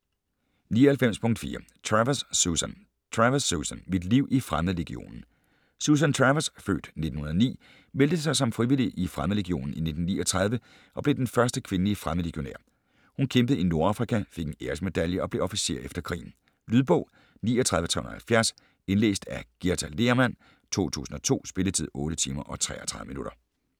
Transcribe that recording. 99.4 Travers, Susan Travers, Susan: Mit liv i Fremmedlegionen Susan Travers (f. 1909) meldte sig som frivillig i Fremmedlegionen i 1939 og blev den første kvindelige fremmedlegionær. Hun kæmpede i Nordafrika, fik en æresmedalje og blev officer efter krigen. Lydbog 39370 Indlæst af Githa Lehrmann, 2002. Spilletid: 8 timer, 33 minutter.